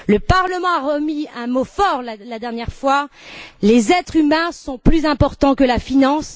Le Parlement a eu des mots forts la dernière fois Les êtres humains sont plus importants que la finance.